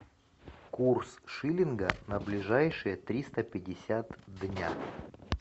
курс шиллинга на ближайшие триста пятьдесят дня